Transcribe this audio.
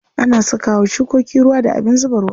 Ana saka wa shukoki ruwa da abin zuba ruwa.